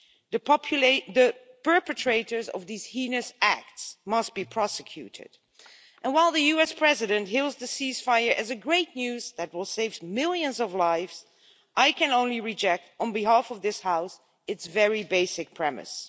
The perpetrators of these heinous acts must be prosecuted, and while the US President hails the cease fire as great news that will save millions of lives, I can only reject, on behalf of this House, its very basic premise.